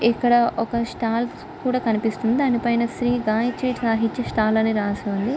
ఇక్కడ ఒక స్తాల్స్ కూడా కనిపిస్తుంది. దానిపైన శ్రీ గాయిత్రి సాహిత్య స్టాల్ అని రాసి ఉంది.